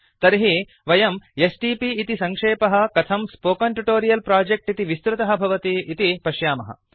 तर्हि वयं एसटीपी इति सङ्क्षेपः कथं स्पोकेन ट्यूटोरियल् प्रोजेक्ट् इति विस्तृतः भवति इति पश्यामः